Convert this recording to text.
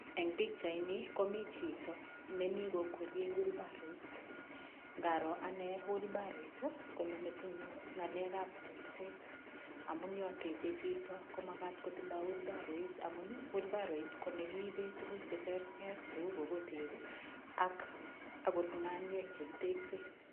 Eng pichaini komi chito nemi kokweriei wilbaroit. Ngaro ane wilbaroit konyo metinyu ng'alekab tekset. Amun yo techei chito komakat kotindoi wilbaroit amun wilbaroit ko nekiipe tukuk che terter cheu kokotek ak akot ng'aniek chekitekse.